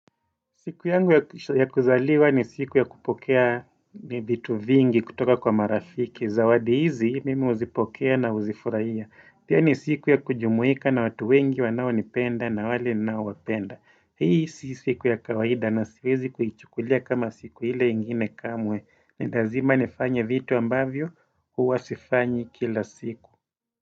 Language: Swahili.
Siku yangu ya kuzaliwa ni siku ya kupokea vitu vingi kutoka kwa marafiki zawadi hizi mimi huzipokea na uzifurahia pia ni siku ya kujumuika na watu wengi wanaonipenda na wale ninaowapenda Hii sisi siku ya kawaida na siwezi kuchukulia kama siku hile ingine kamwe ni lazima nifanya vitu ambavyo hua sifanyi kila siku.